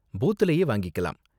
பூத்துலயே வாங்கிக்கலாம்.